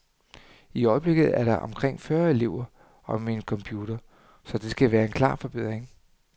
I øjebliket er der omkring fyrre elever om en computer, så det vil være en klar forbedring.